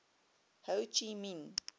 ho chi minh